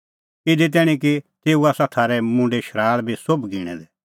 इधी तैणीं कि तेऊ आसा थारै मुंडे शराल़ बी सोभ गिणैं दै